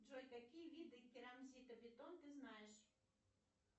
джой какие виды керамзита бетон ты знаешь